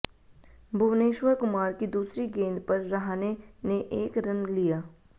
भुवनेश्वर कुमार की दूसरी गेंद पर रहाणे ने एक रन लिया